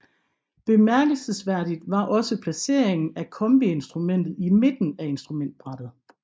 Bemærkelsesværdigt var også placeringen af kombiinstrumentet i midten af instrumentbrættet